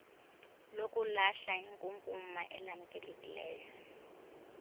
lokulahla inkunkuma elamkelekileyo